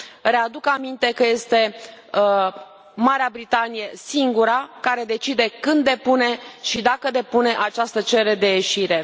Readuc aminte că Marea Britanie este singura care decide când depune și dacă depune această cerere de ieșire.